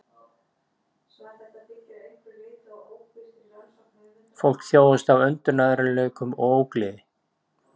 Fólkið þjáðist af öndunarerfiðleikum og ógleði